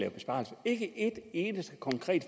af besparelser ikke et eneste konkret